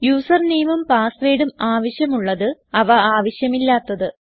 user nameഉം passwordഉം ആവശ്യം ഉള്ളത് അവ ആവശ്യമില്ലാത്തത്